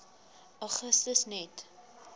augustus net